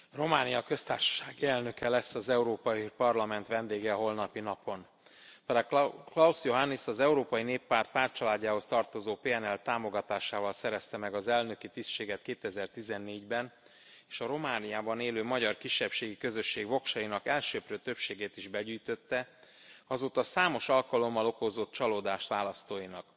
Tisztelt Elnök Úr! Románia köztársasági elnöke lesz az Európai Parlament vendége a holnapi napon. Klaus Johannis az Európai Néppárt pártcsaládjához tartozó PNL támogatásával szerezte meg az elnöki tisztséget 2014 ben és a Romániában élő magyar kisebbségi közösség voksainak elsöprő többségét is begyűjtötte, azóta számos alkalommal okozott csalódást választóinak.